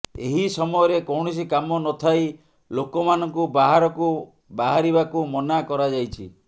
ଏହି ସମୟରେ କୌଣସି କାମ ନଥାଇ ଲୋକମାନଙ୍କୁ ବାହାରକୁ ବାହାରିବାକୁ ମନା କରାଯାଇଛି